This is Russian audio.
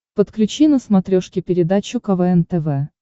подключи на смотрешке передачу квн тв